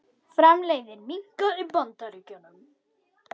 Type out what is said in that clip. Framleiðni minnkar í Bandaríkjunum